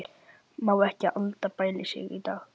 Má ekki Alda bæla sig í dag.